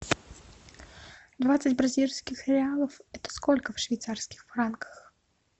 двадцать бразильских реалов это сколько в швейцарских франках